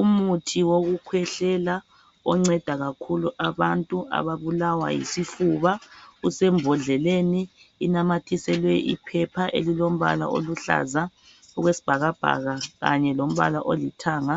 Umuthi wokukhwehlela onceda kakhulu abantu ababulawa yisifuba usembhodleleni inamathiselwe iphepha elilombala oluhlaza okwesibhakabhaka kanye lombala olithanga